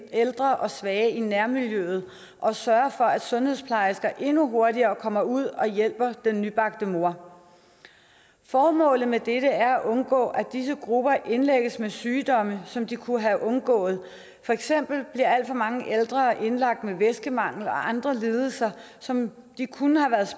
ældre og svage i nærmiljøet og sørge for at sundhedsplejersker endnu hurtigere kommer ud og hjælper den nybagte mor formålet med dette er at undgå at disse grupper indlægges med sygdomme som de kunne have undgået for eksempel bliver alt for mange ældre indlagt med væskemangel og andre lidelser som de kunne have været